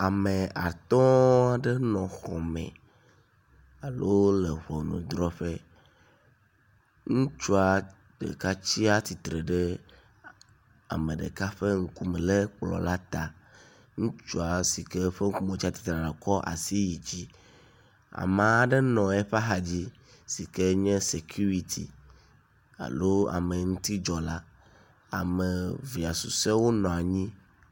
Ame atɔ̃a ɖe nɔ xɔ me alo le ŋɔnudrɔƒe, ŋutsua ɖeka tsia titre ɖe ame ɖeka ƒe ŋkume le kplɔ̃ la ta, ŋutsua si ke ƒe ŋkume wotsa tsitre ɖa kɔ asi yi dzi, ama ɖe nɔ eƒa xa dzi si ke nye “security” alo ameŋutidzɔla. Ame, fia susɔewo nɔa nyi.